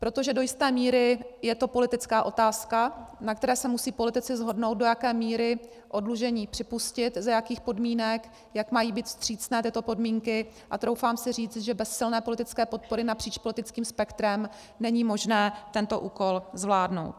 Protože do jisté míry je to politická otázka, na které se musí politici shodnout, do jaké míry oddlužení připustit, za jakých podmínek, jak mají být vstřícné tyto podmínky, a troufám si říct, že bez silné politické podpory napříč politickým spektrem není možné tento úkol zvládnout.